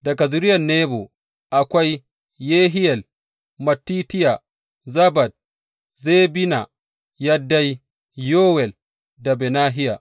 Daga zuriyar Nebo, akwai Yehiyel, Mattitiya, Zabad, Zebina, Yaddai, Yowel da Benahiya.